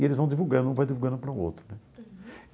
E eles vão divulgando, um vai divulgando para o outro né. Uhum.